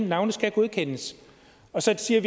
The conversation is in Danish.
navne skal godkendes og så siger